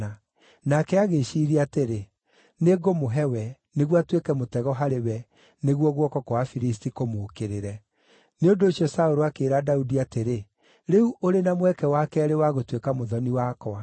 Nake agĩĩciiria atĩrĩ, “Nĩngũmũhe we, nĩguo atuĩke mũtego harĩ we nĩguo guoko kwa Afilisti kũmũũkĩrĩre.” Nĩ ũndũ ũcio Saũlũ akĩĩra Daudi atĩrĩ, “Rĩu ũrĩ na mweke wa keerĩ wa gũtuĩka mũthoni wakwa.”